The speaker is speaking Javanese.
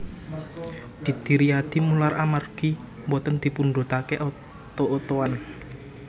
Didi Riyadi mular amargi mboten dipundhutake oto otoan